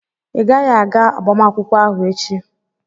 ị gaghị aga agbamakwụkwọ ahụ echi!